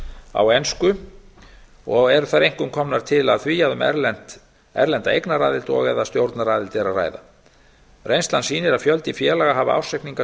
á ensku eru þær einkum komnar til af því að um erlenda eignaraðild og eða stjórnaraðild er að ræða reynslan sýnir að fjöldi félaga hafa ársreikninga